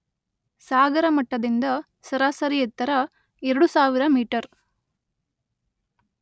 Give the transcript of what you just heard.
ಸಾಗರ ಮಟ್ಟದಿಂದ ಸರಾಸರಿ ಎತ್ತರ ಎರಡು ಸಾವಿರ ಮೀಟರ್